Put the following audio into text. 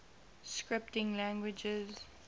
scripting languages